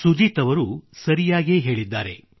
ಸುಜೀತ್ ಅವರು ಸರಿಯಾಗೇ ಹೇಳಿದ್ದಾರೆ